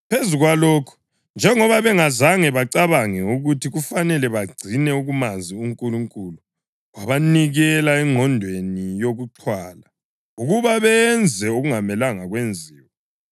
Phezu kwalokho, njengoba bengazange bacabange ukuthi kufanele bagcine ukumazi uNkulunkulu, wabanikela engqondweni yokuxhwala, ukuba benze okungamelanga kwenziwe.